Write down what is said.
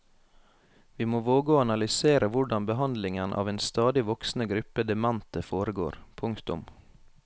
Vi må våge å analysere hvordan behandlingen av en stadig voksende gruppe demente foregår. punktum